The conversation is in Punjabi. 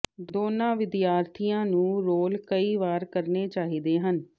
ਦੋਨਾਂ ਵਿਦਿਆਰਥੀਆਂ ਨੂੰ ਰੋਲ ਕਈ ਵਾਰ ਕਰਨੇ ਚਾਹੀਦੇ ਹਨ